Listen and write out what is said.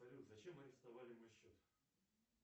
салют зачем арестовали мой счет